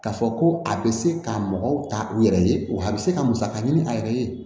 K'a fɔ ko a bɛ se ka mɔgɔw ta u yɛrɛ ye wa a bɛ se ka musaka ɲini a yɛrɛ ye